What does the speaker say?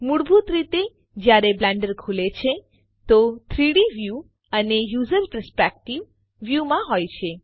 મૂળભૂત રીતે જયારે બ્લેન્ડર ખુલે છે તો 3ડી વ્યૂ એ યુઝર પર્સ્પેક્ટિવ વ્યૂ માં હોય છે